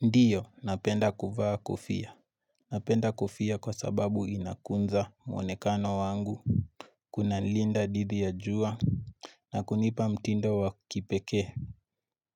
Ndiyo napenda kuvaa kofia Napenda kofia kwa sababu inakunza muonekano wangu Kuna linda didhi ya jua na kunipa mtindo wa kipekee